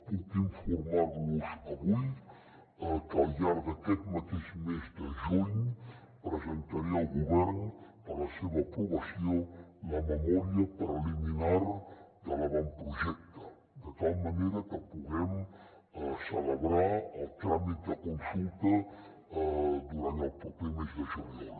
puc informar los avui que al llarg d’aquest mateix mes de juny presentaré al govern per a la seva aprovació la memòria preliminar de l’avantprojecte de tal manera que puguem celebrar el tràmit de consulta durant el proper mes de juliol